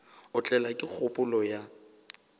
a tlelwa ke kgopolo ya